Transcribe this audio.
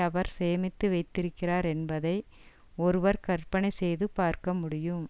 அவர் சேமித்து வைத்திருக்கிறார் என்பதை ஒருவர் கற்பனை செய்து பார்க்க முடியும்